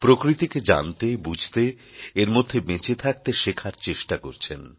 প্রকৃতিকে জানতে বুঝতে এর মধ্যে বেঁচে থাকতে শেখার চেষ্টা করছেন